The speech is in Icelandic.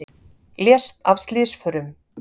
Lést af slysförum